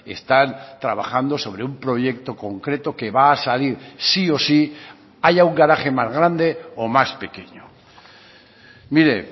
están trabajando sobre un proyecto concreto que va a salir sí o sí haya un garaje más grande o más pequeño mire